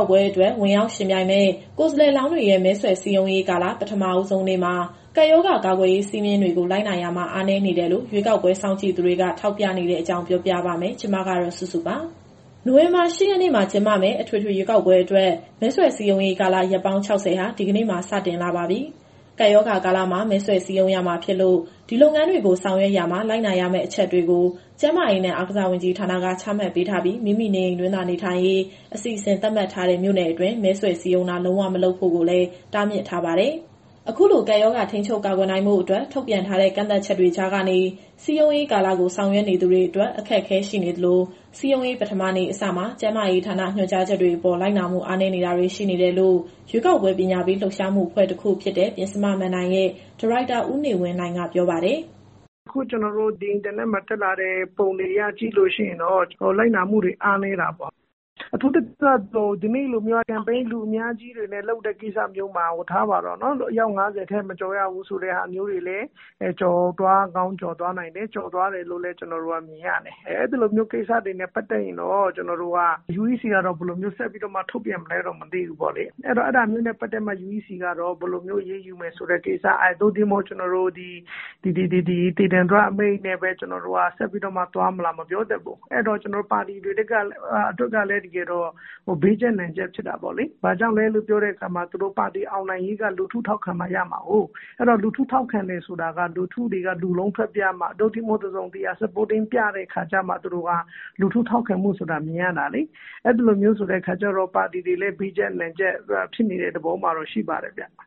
ာက်ပွဲအတွက် ဝင်ရောက်ယှဉ်ပြိုင်မယ့် ကိုယ်စားလှယ်လောင်းတွေရဲ့မဲဆွယ်စည်းရုံးရေးကာလ ပထမဦးဆုံးနေ့မှာ ကပ်ရောဂါကာကွယ်ရေး စည်းမျဉ်းတွေကို လိုက်နာရာမှာ အားနည်းနေတယ်လို့ ရွေးကောက်ပွဲစောင့်ကြည့်သူတွေက ထောက်ပြပြောဆိုထားပါတယ်။ ဒီအကြောင်းကို ဗွီအိုအေမြန်မာပိုင်း သတင်းထောက်စုစုက တင်ဆက်ပေးမှာပါ။ နိုဝင်ဘာ ၈ ရက်နေ့မှာ ကျင်းပမယ့် အထွေထွေရွေးကောက်ပွဲအတွက် မဲဆွယ်စည်းရုံးရေးကာလ ရက်ပေါင်း ၆၀ ဟာ ဒီကနေ့မှာ စတင်လာပါပြီ။ ကပ်ရောဂါကာလမှာ မဲဆွယ်စည်းရုံးရမှာဖြစ်လို့ ဒီလုပ်ငန်းတွေကို ဆောင်ရွက်ရာမှာ လိုက်နာရမယ့်အချက်တွေကို ကျန်းမာရေးနဲ့ အားကစားဝန်ကြီးဌာနက ချမှတ်ပေးထားပြီး မိမိနေအိမ်တွင်းသာနေထိုင်ရေး အစီအစဉ် သတ်မှတ်ထားတဲ့ မြို့နယ်အတွင်း မဲဆွယ်စည်းရုံးတာ လုံးဝမလုပ်ဖို့ကိုလည်း တားမြစ်ထားပါတယ်။ အခုလိုကပ်ရောဂါ ထိန်းချုပ်ကာကွယ်နိုင်ဖို့အတွက် ထုတ်ပြန်ထားတဲ့ ကန့်သတ်ချက်တွေကြားကနေ စည်းရုံးရေးကာလကို ဆောင်ရွက်နေသူတွေအတွက် အခက်အခဲရှိနေသလို၊ စည်းရုံးရေး ပထမနေ့အစမှာ ကျန်းမာရေးဌာနညွှန်ကြားချက်တွေအပေါ် လိုက်နာမှုအားနည်းတာတွေရှိနေတယ်လို့ ရွေးကောက်ပွဲပညာပေး လှုပ်ရှားမှုအဖွဲ့တခုဖြစ်တဲ့ ပဉ္စမမဏ္ဍိုင်ရဲ့ဒါရိုက်တာ ဦးနေဝင်းနိုင်က ပြောပါတယ်။ “အခု အင်တာနက်ပေါ်တက်လာတဲ့ ပုံတွေအရကြည့်လို့ရှိရင်တော့ လိုက်နာမှုတွေအားနည်တာပေါ့။ အထူးသဖြင့် ဒီနေ့လိုမျိုး Campaign လူအများကြီးတွေနဲ့ လုပ်တဲ့ကိစ္စမျိုးမှာ အယောက် ၅၀ ထက် မကျော်ရဘူးဆိုတဲ့ဟာမျိုးတွေလည်း ကျော်သွားကောင်းကျော်သွားနိုင်တယ်။ ကျော်သွားတယ်လို့လည်း ကျနော်တို့ကမြင်ရတယ်။ အဲလိုမျိုးကိစ္စတွေနဲ့ပတ်သက်ရင်တော့ UEC က ဘယ်လိုမျိုးဆက်ပြီး ထုတ်ပြန်မလဲတော့ မသိဘူးပေါ့လေ။ အဲတော့ အဲဒါမျိုးနဲ့ပတ်သက်ပြီးတော့မှ UEC က ဘယ်လိုမျိုးအရေးယူမယ်ဆိုတဲ့ကိစ္စ၊ သို့တည်းမဟုတ် ဒီဒေသန္တရအမိန့်နဲ့ပဲ ဆက်ပြီးတော့မှသွားမလား မပြောတတ်ဘူး။ အဲတော့ ပါတီတွေအတွက်ကလည်း တကယ်တော့ ဘေးကြပ်နံကြပ် ဖြစ်တာပေါ့လေ။ ဘာကြောင့်လဲလို့ပြောတဲ့အခါမှာ သူတို့ပါတီအောင်နိုင်ရေးက လူထုထောက်ခံမှရမှာကိုး။ အဲတော့ လူထုထောက်ခံတယ်ဆိုတာက လူထုတွေက လူလုံးထွက်ပြမှ၊ သို့တည်းမဟုတ် တစုံတရာ Supporting ပြတဲ့အခါကျမှ သူတို့က လူထုထောက်ခံမှုဆိုတာမြင်ရတာလေ။ အဲလိုမျိုးဆိုတဲ့အခါကျတော့ ပါတီတွေလည်း ဘေးကြပ်နံကြပ် ဖြစ်နေတဲ့ သဘောမှာတော့ ရှိပါတယ်ဗျ။”